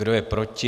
Kdo je proti?